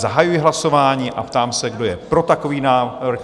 Zahajuji hlasování a ptám se, kdo je pro takový návrh?